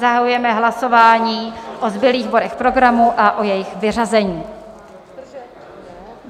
Zahajujeme hlasování o zbylých bodech programu a o jejich vyřazení.